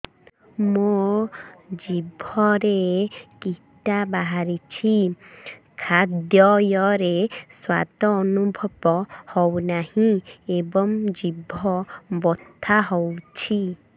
ମୋ ଜିଭରେ କିଟା ବାହାରିଛି ଖାଦ୍ଯୟରେ ସ୍ୱାଦ ଅନୁଭବ ହଉନାହିଁ ଏବଂ ଜିଭ ବଥା ହଉଛି